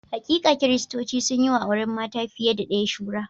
Hakika, Kiristoci sun yi wa auren mata fiye da ɗaya shura.